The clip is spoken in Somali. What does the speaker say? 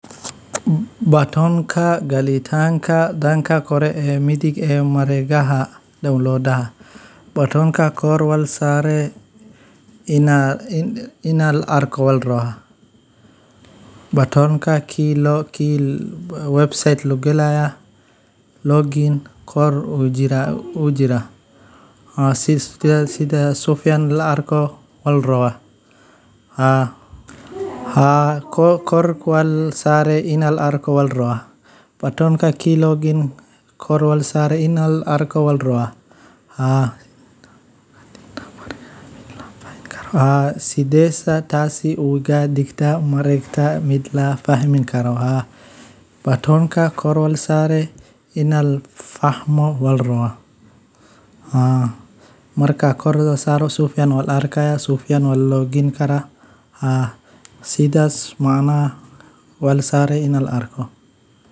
Marka aad si joogto ah u maareyso macaamilo maaliyadeed si xilkasnimo leh, waxa aad helaysaa maamul dhaqaale oo deggan, waxa aad yareynaysaa kharashyada lama filaanka ah, waxa ayna kuu sahlaysaa inaad waqtiga iyo tamartaada si wax ku ool ah u isticmaasho. Marka la eego, macaamilo maaliyadeed oo sax ah waa tubta ay bulsho kastaa ku gaarto adeegyo hufan iyo horumar nololeed.